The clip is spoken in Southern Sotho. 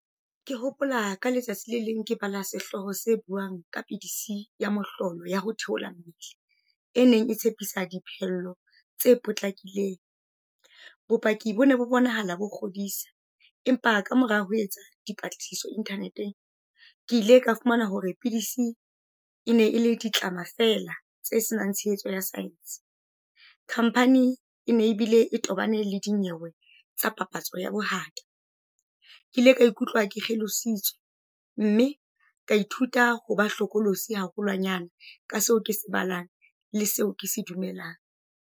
Ke hopola ka letsatsi le leng, ke bala sehloho se buang ka pidisi ya mohlolo ya ho theola mmele. E neng e tshepisa diphello tse potlakileng. Bopaki bone bo bonahala bo kgodisa, empa ka mora ho etsa dipatlisiso internet-eng, ke ile ka fumana hore pidisi e ne e le ditlama fela tse senang tshehetso ya science. Khamphani ene ebile e tobane le dinyewe tsa papatso ya bohata. Ke ile ka ikutlwa ke kgelositswe, mme ka ithuta ho ba hlokolosi haholwanyane ka seo ke se balang le seo ke se dumelang.